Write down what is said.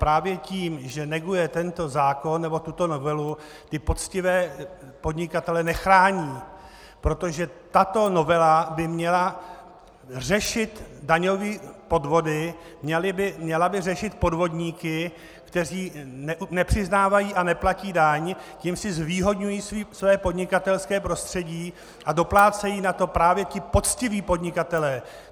Právě tím, že neguje tento zákon nebo tuto novelu, ty poctivé podnikatele nechrání, protože tato novela by měla řešit daňové podvody, měla by řešit podvodníky, kteří nepřiznávají a neplatí daň, tím si zvýhodňují své podnikatelské prostředí a doplácejí na to právě ti poctiví podnikatelé.